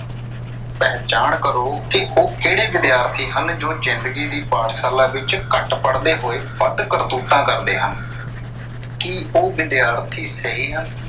ਪਹਿਚਾਣ ਕਰੋ ਕਿ ਉਹ ਕਿਹੜੇ ਵਿਦਿਆਰਥੀ ਹਨ ਜੋ ਜਿੰਦਗੀ ਦੀ ਪਾਠਸ਼ਾਲਾ ਵਿੱਚ ਘੱਟ ਪੜ੍ਹਦੇ ਹੋਏ ਵੱਧ ਕਰਤੂਤਾਂ ਕਰਦੇ ਹਨ, ਕੀ ਉਹ ਵਿਦਿਆਰਥੀ ਸਹੀ ਹਨ।